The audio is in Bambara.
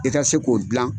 I ka se k'o dilan